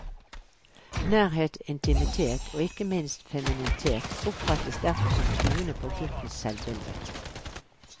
Nærhet, intimitet, og ikke minst femininitet oppfattes derfor som truende på guttens selvbilde.